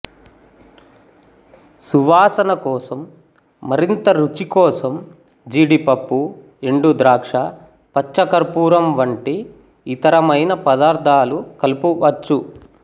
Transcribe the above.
సువాసన కోసం మరింత రుచి కోసం జీడిపప్పు ఎండుద్రాక్ష పచ్చకర్పూరం వంటి ఇతరమైన పదార్థాలు కలుపవచ్చు